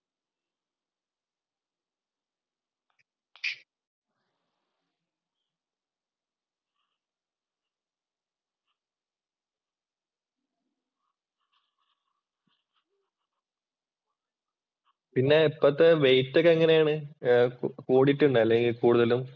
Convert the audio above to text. പിന്നെ ഇപ്പോഴത്തെ വെയിറ്റ് ഒക്കെ എങ്ങനെയാണ് കൂടിയിട്ടുണ്ടോ അല്ലെങ്കിൽ കൂടുതലും.